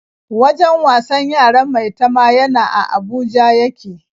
Wajen wasan yaran Maitama yana a Abuja ya ke.